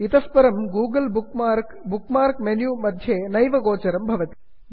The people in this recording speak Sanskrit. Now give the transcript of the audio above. इतः परं Google bookmark bookmark menu मध्ये नैव गोचरं भवति